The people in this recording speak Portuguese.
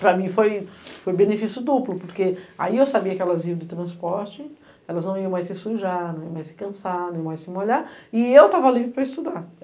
Para mim foi benefício duplo, porque aí eu sabia que elas iam de transporte, elas não iam mais se sujar, não iam mais se cansar, não iam mais se molhar, e eu estava livre para estudar.